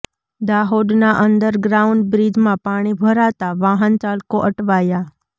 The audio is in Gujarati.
દાહોદના અંડર ગ્રાઉન્ડ બ્રિજમાં પાણી ભરાતાં વાહન ચાલકો અટવાયા